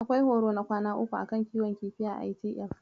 Akwai horo na kwana uku a kan kiwon kifi a ITF.